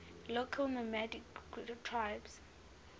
local nomadic tribes